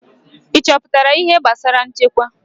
Ị chọpụtala ihe gbasara nchekwa?